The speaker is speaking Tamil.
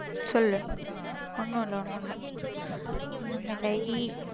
சொல்லு. ஒன்னும் இல்ல ஒன்னும் இல்ல ஒன்னும் இல்லை.